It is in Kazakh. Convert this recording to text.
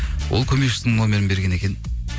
ол көмекішісінің номерін берген екен